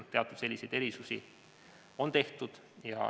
Ehk teatud selliseid erisusi on tehtud.